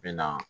Bɛ na